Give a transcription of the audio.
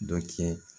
Dɔ kɛ